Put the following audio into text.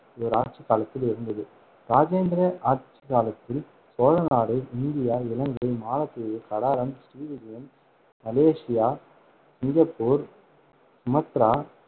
இவர் ஆட்சி காலத்தில் இருந்தது. இராஜேந்திரன் ஆட்சிக்காலத்தில் சோழநாடு இந்தியா, இலங்கை, மாலத்தீவு, Kadaram, Sri Vijayam, Malaysia, Singapore, Sumatra,